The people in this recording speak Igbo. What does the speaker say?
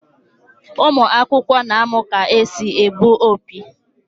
Ụmụ akwụkwọ n'amu ka esị egbụ opi